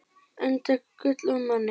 Enda gull af manni.